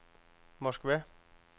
Moskva